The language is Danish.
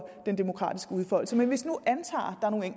den demokratiske udfoldelse men hvis vi nu antager